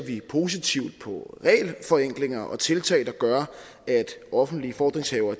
positivt på regelforenklinger og tiltag der gør at offentlige fordringshavere